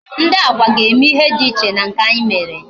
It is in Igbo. Ndị Agwa ga-eme ihe dị iche na nke anyị mere